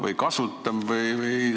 Või ikka kasutab?